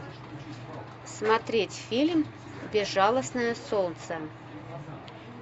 смотреть фильм безжалостное солнце